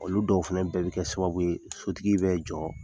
Olu dɔw fana bɛɛ bi kɛ sababu ye sotigi bɛ jɔ